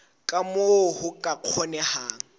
ka moo ho ka kgonehang